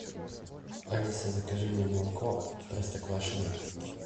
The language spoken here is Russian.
алиса закажи мне молоко простоквашино